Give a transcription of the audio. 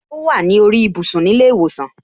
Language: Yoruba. O wa ni orí ibùsùn ni ile iwosan.